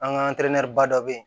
An ka ba dɔ bɛ yen